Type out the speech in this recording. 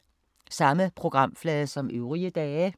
Samme programflade som øvrige dage